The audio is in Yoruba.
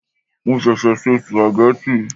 Mo ṣẹ̀ṣẹ̀ se sùpàgẹ́tì.